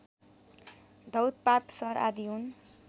धौतपाप सर आदि हुन्